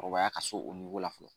Kɔrɔbaya ka se o la fɔlɔ